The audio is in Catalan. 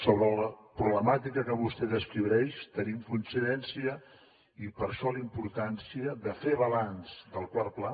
sobre la problemàtica que vostè descriu tenim coincidència i per això la importància de fer balanç del quart pla